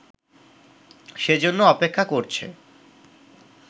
সেজন্য অপেক্ষা করছে